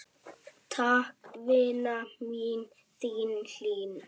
Takk, vina mín, þín Hlín.